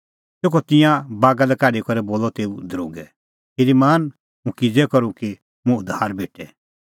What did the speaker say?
तेखअ तिंयां बागा लै काढी करै बोलअ तेऊ दरोगै श्रीमान हुंह किज़ै करूं कि मुंह उद्धार भेटे